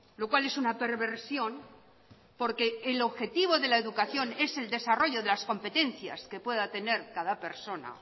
lo cual es una perversión porque el objetivo de la educación es el desarrollo de las competencias que pueda tener cada persona